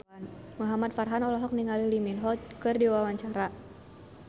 Muhamad Farhan olohok ningali Lee Min Ho keur diwawancara